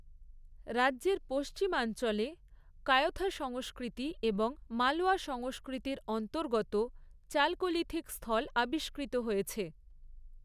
রাজ্যের পশ্চিমাঞ্চলে, কায়থা সংস্কৃতি এবং মালওয়া সংস্কৃতির অন্তর্গত চালকোলিথিক স্থল আবিষ্কৃত হয়েছে।